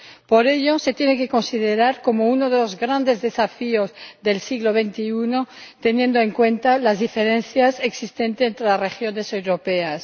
Por ello, se tiene que considerar como uno de los grandes desafíos del siglo XXI teniendo en cuenta las diferencias existentes entre las regiones europeas.